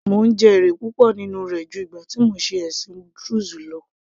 Mò ń jẹ èrè púpọ̀ nínú rẹ̀ ju ìgbà tí mò ń ṣe ẹ̀sìn druze lọ